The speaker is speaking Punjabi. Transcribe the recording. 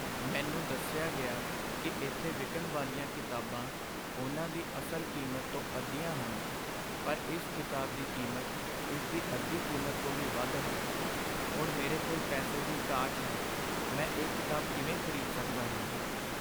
ਮੈਨੂੰ ਦੱਸਿਆ ਗਿਆ ਕਿ ਇੱਥੇ ਵਿਕਣ ਵਾਲੀਆਂ ਕਿਤਾਬਾਂ ਉਨ੍ਹਾਂ ਦੀ ਅਸਲ ਕੀਮਤ ਤੋਂ ਅੱਧੀਆਂ ਹਨ ਪਰ ਇਸ ਕਿਤਾਬ ਦੀ ਕੀਮਤ ਇਸ ਦੀ ਅੱਧੀ ਕੀਮਤ ਤੋਂ ਵੀ ਵੱਧ ਹੈ। ਹੁਣ ਮੇਰੇ ਕੋਲ ਪੈਸੇ ਦੀ ਘਾਟ ਹੈ, ਮੈਂ ਇਹ ਕਿਤਾਬ ਕਿਵੇਂ ਖ਼ਰੀਦ ਸਕਦਾ ਹਾਂ?